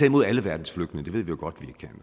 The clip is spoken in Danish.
imod alle verdens flygtninge det ved vi jo godt